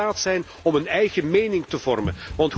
Ze moeten in staat zijn om een eigen mening te vormen.